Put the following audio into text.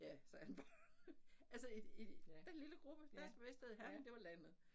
Ja sagde han bare altså i i den lille gruppe der vidste Herning det var landet